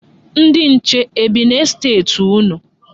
Ndị nche e bi n'estet unu?